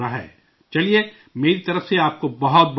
چلئے، میری طرف سے آپ کو بہت بہت مبارکباد